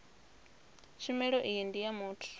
tshumelo iyi ndi ya muthu